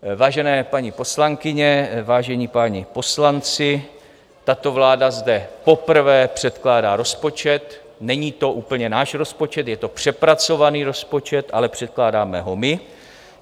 Vážené paní poslankyně, vážení páni poslanci, tato vláda zde poprvé předkládá rozpočet, není to úplně náš rozpočet, je to přepracovaný rozpočet, ale předkládáme ho my.